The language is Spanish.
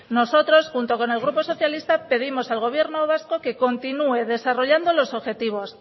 nosotros junto con el grupo socialista pedimos al gobierno vasco que continúe desarrollando los objetivos